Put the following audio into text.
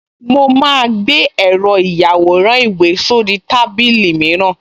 Mo máa gbé èrò ìyàwòrán-ìwé sórí tábìlì mìíràn